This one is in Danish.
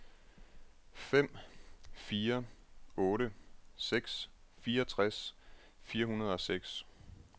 fem fire otte seks fireogtres fire hundrede og seks